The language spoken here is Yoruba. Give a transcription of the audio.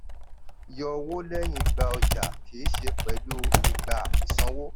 yọ owó lẹ́yìn gba ọjà kì í ṣe pẹ̀lú ìgbà sanwó.